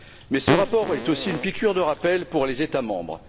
Mais ce rapport est aussi une piqûre de rappel pour les États membres.